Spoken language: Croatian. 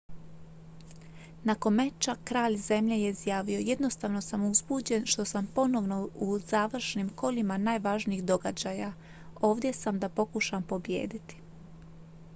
"nakon meča kralj zemlje je izjavio: "jednostavno sam uzbuđen što sam ponovno u završnim kolima najvažnijih događaja. ovdje sam da pokušam pobijediti.""